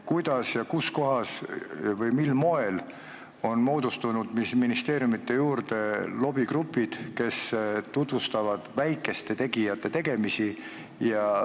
Kuidas ja kus kohas on moodustunud ministeeriumide juurde lobigrupid, kes tutvustavad väikeste tegijate tegemisi?